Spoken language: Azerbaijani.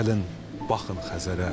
Gəlin baxın Xəzərə.